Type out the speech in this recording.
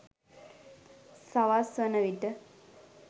සවස් වන විට